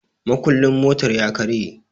mukulin motar ya karye